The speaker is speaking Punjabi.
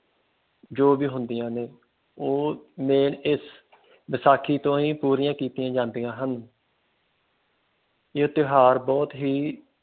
ਜੋ ਕਿ ਹੁੰਦੀਆਂ ਨੇ ਉਹ ਇਸ ਵਿਸਾਖੀ ਤੋਂ ਹੀ ਪੂਰੀਆਂ ਕੀਤੀਆਂ ਜਾਂਦੀਆਂ ਹਨ। ਇਹ ਤਿਓਹਾਰ ਬਹੁਤ ਹੀ